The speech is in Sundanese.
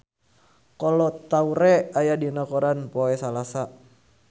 Kolo Taure aya dina koran poe Salasa